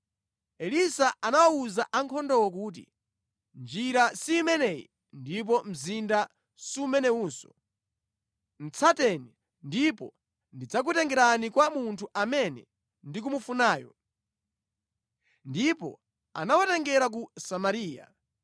Elisa anawawuza ankhondowo kuti, “Njira si imeneyi ndipo mzinda sumenewunso. Tsateni, ndipo ndidzakutengerani kwa munthu amene mukumufunayo.” Ndipo anawatengera ku Samariya.